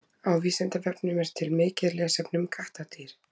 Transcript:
Á Vísindavefnum er til mikið lesefni um kattardýr.